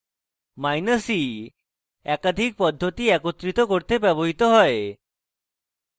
minus e একাধিক পদ্ধতি একত্রিত করতে ব্যবহৃত হয়